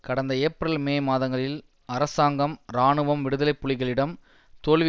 கடந்த April May மாதங்களில் அரசாங்கம் இராணுவம் விடுதலை புலிகளிடம் தோல்வி